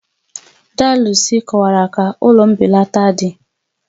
Daa Lucy kọwara ka ụlọ mbelata dị